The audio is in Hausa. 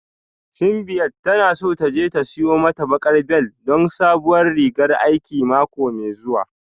Simbiat tana so ta je ta siyo mata baƙar bel don sabuwar rigan aiki mako mai zuwa